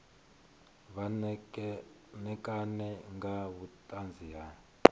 vha ṋekane nga vhuṱanzi ha